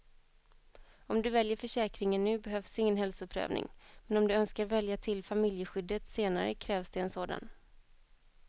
Om du väljer försäkringen nu behövs ingen hälsoprövning, men om du önskar välja till familjeskyddet senare krävs det en sådan.